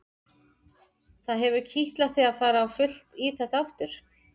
Það hefur kitlað þig að fara á fullt í þetta aftur?